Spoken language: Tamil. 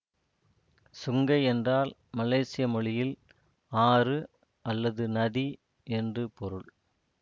சுங்கை என்றால் மலேசிய மொழியில் ஆறு அல்லது நதி என்று பொருள்